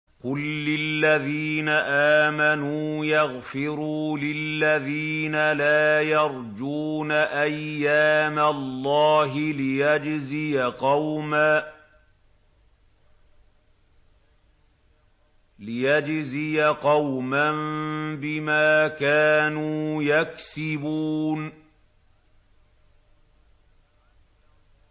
قُل لِّلَّذِينَ آمَنُوا يَغْفِرُوا لِلَّذِينَ لَا يَرْجُونَ أَيَّامَ اللَّهِ لِيَجْزِيَ قَوْمًا بِمَا كَانُوا يَكْسِبُونَ